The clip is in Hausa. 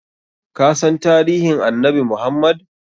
Kasan tarihin annabi Muhammad?